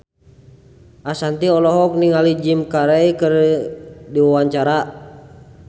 Ashanti olohok ningali Jim Carey keur diwawancara